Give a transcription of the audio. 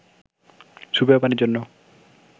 সুপেয় পানির জন্য